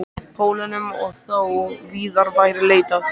Pólunum og þó víðar væri leitað.